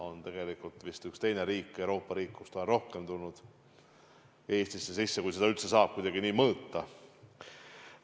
On tegelikult vist üks teine Euroopa riik, kust ta on rohkem Eestisse sisse tulnud, kui seda üldse saab kuidagi mõõta.